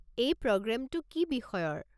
এই প্ৰগ্ৰেমটো কি বিষয়ৰ?